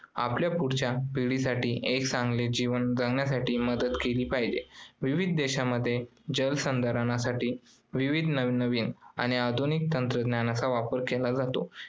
आपल्या पुढच्या पिढीसाठी एक चांगले जीवन जगण्यासाठी मदत केली पाहिजे. विविध देशांमध्ये जलसंधारणासाठी विविध नवीन नवीन आणि आधुनिक तंत्रज्ञानाचा वापर केला जातो.